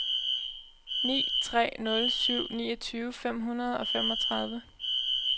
ni tre nul syv niogtyve fem hundrede og femogtredive